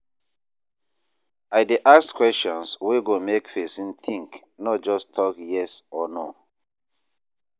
I dey ask questions wey go make pesin think, no just tok yes or no.